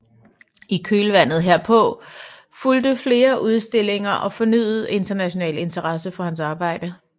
I kølvandet herpå fulgte flere udstillinger og fornyet international interesse for hans arbejde